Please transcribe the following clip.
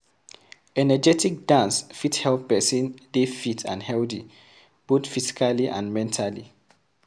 Energetic dance fit help person dey fit and healthy both physically and mentally